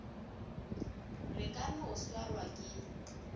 re ka no swarwa ke